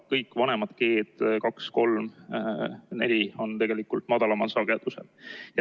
Kõik vanemad G-d – 2-3-4 – on tegelikult madalamal sagedusel.